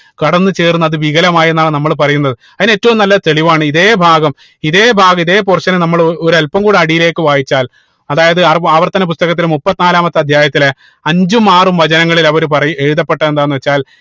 കടന്ന് ചേർന്ന് അത് വികലമായി എന്നാണ് നമ്മൾ പറയുന്നത് അതിന് ഏറ്റവും നല്ല തെളിവാണ് ഇതേ ഭാഗം ഇതേ ഭാഗം ഇതേ portion നമ്മള് ഒ ഒരൽപ്പം കൂടെ അടിയിലേക്ക് വായിച്ചാൽ അതായതു ആർ ആവർത്തന പുസ്തകത്തിൽ മുപ്പതിനാലാമത്തെ അധ്യായത്തിലെ അഞ്ചും ആറും വചനങ്ങളിൽ അവര് പറയ് എഴുതപ്പെട്ടത് എന്താണെന്ന് വെച്ചാൽ